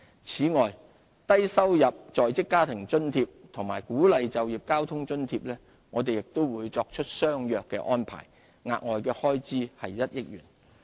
此外，就低收入在職家庭津貼及鼓勵就業交通津貼，亦作出相若的安排，額外開支1億元。